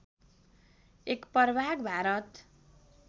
एक प्रभाग भारत